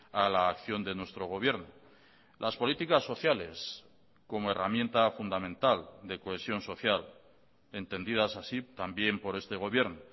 a la acción de nuestro gobierno las políticas sociales como herramienta fundamental de cohesión social entendidas así también por este gobierno